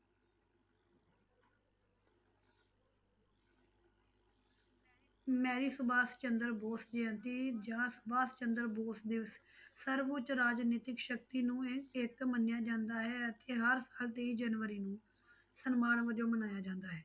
Mary Subhash Chandra Bose Jayanti ਜਾਂ ਸੁਭਾਸ਼ ਚੰਦਰ ਬੋਸ ਦਿਵਸ ਸਰਵ ਉੱਚ ਰਾਜਨੀਤਿਕ ਸ਼ਕਤੀ ਨੂੰ ਇਹ ਇੱਕ ਮੰਨਿਆ ਜਾਂਦਾ ਹੈ ਅਤੇ ਹਰ ਸਾਲ ਤੇਈ ਜਨਵਰੀ ਨੂੰ ਸਨਮਾਨ ਵਜੋਂ ਮਨਾਇਆ ਜਾਂਦਾ ਹੈ।